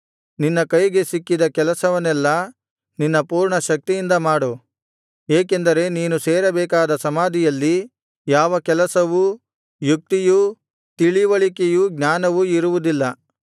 ನಿನ್ನ ಕೈಗೆ ಸಿಕ್ಕಿದ ಕೆಲಸವನ್ನೆಲ್ಲಾ ನಿನ್ನ ಪೂರ್ಣ ಶಕ್ತಿಯಿಂದ ಮಾಡು ಏಕೆಂದರೆ ನೀನು ಸೇರಬೇಕಾದ ಸಮಾಧಿಯಲ್ಲಿ ಯಾವ ಕೆಲಸವೂ ಯುಕ್ತಿಯೂ ತಿಳಿವಳಿಕೆಯೂ ಜ್ಞಾನವೂ ಇರುವುದಿಲ್ಲ